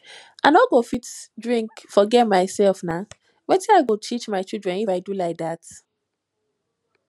i no go fit drink forget myself na wetin i go teach my children if i do like dat